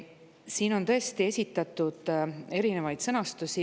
Siin on tõesti esitatud erinevaid sõnastusi.